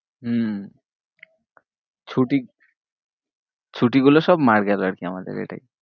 হম ছুটি ছুটি গুলো মানে সব মার গেল আর কি আমাদের এটাই